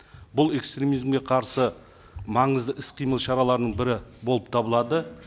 бұл экстремизмге қарсы маңызды іс қимыл шараларының бірі болып табылады